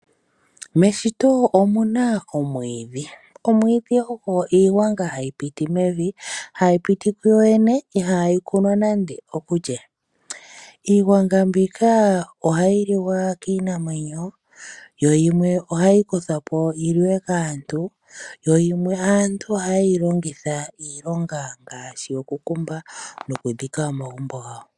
Meshito omuna omwiidhi. Omwiidhi ogo iigwanga hayi piti mevi, hayi piti ku yoyene ihaayi kunwa nande okulye. Iigwanga mbika ohayi kiwa kiinamwenyo to yimwe ohayi kuthwa po yi liwe kaantu. Yo yimwe aantu ohaye yi longitha iilonga ngashi okukumba nokudhika omagumbo gawo.